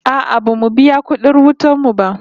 No, we haven't paid our electricity bill yet